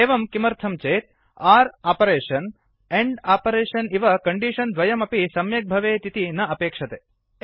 एवं किमर्थं चेत् आर् आपरेषन् आण्ड् आपरेषन् इव कण्डीषन् द्वयमपि सम्यक् भवेत् इति न अपेक्षते